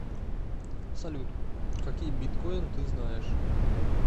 салют какие биткойн ты знаешь